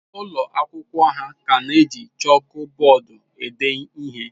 Ụlọ akwụkwọ ha ka na-eji chọọkụ bọọdụ ede ihe.